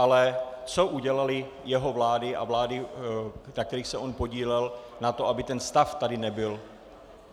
Ale co udělaly jeho vlády a vlády, na kterých se on podílel, na to, aby tento stav tady nebyl?